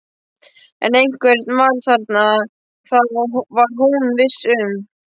En einhver var þarna, það var hún viss um.